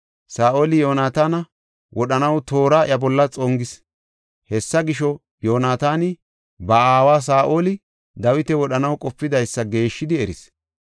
Saa7oli Yoonataana wodhanaw toora iya bolla xongis. Hessa gisho, Yoonataani ba aawa Saa7oli, Dawita wodhanaw qopidaysa geeshshidi eris.